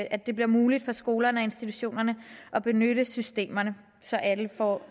at det bliver muligt for skolerne og institutionerne at benytte systemerne så alle får